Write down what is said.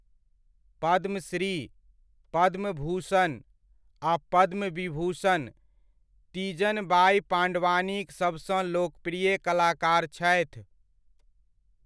पद्मश्री, पद्मभूषण आ पद्मविभूषण तीजन बाइ पाण्डवानीक सभसँ लोकप्रिय कलाकार छथि।